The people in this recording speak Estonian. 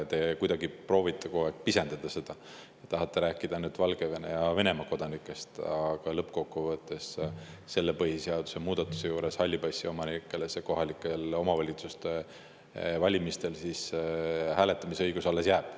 Te kuidagi proovite kogu aeg pisendada seda, tahate rääkida ainult Valgevene ja Venemaa kodanikest, aga lõppkokkuvõttes jääb selle põhiseaduse muudatuse korral halli passi omanikele kohalike omavalitsuste valimistel hääletamise õigus alles.